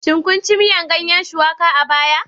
Shin kun ci miyar ganyen Shuwaka a baya?